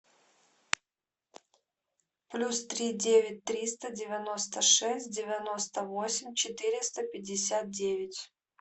плюс три девять триста девяносто шесть девяносто восемь четыреста пятьдесят девять